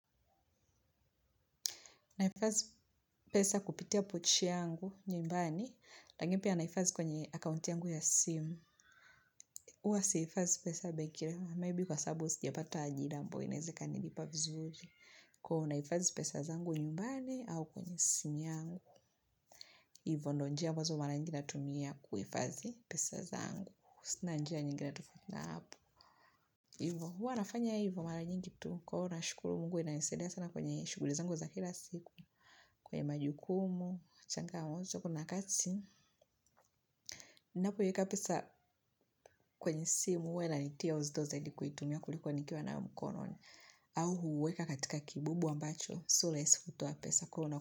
Naifadhi pesa kupitia pochi yangu nyumbani. Saa ingine pia naifadhi kwenye akaunti yangu ya simu. Uwa si hifadhi pesa bankini. Maybe kwa sababu sijapata ajira ambao inaeza kanilipa vizuri. Kwa naifadhi pesa zangu nyumbani au kwenye simu yangu. Ivo ndo njia ambazo mara nyingi natumia kuifadhi pesa zangu. Sina njia nyingine tofauti na hapo. Ivo, hua nafanya ivo mara nyingi kitu. Kwa na shukuru mungu inanisaidia sana kwenye shughuli zangu za kila siku. Kwenye majukumu, changamoto kuna kati napoweka pesa kwenye simu hunitia uzito zaidi kuitumia kuliko nikiwa nayo mkononi au kuweka katika kibubu ambacho, sio rahisi kutoa pesa mkononi.